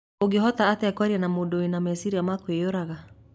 Ũngĩhota atĩa kwaria na mũndũ wĩna mecirĩa ma kwĩyũraga?